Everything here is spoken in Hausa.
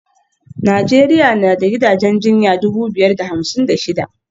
Najeriya na da gidajen jinya dubu biyar da hamsin da shida